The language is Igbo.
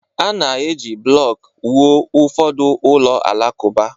A na-eji blọk wụọ ụfọdụ ụlọ alakụba.